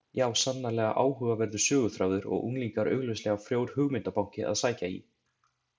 Já, sannarlega áhugaverður söguþráður og unglingar augljóslega frjór hugmyndabanki að sækja í.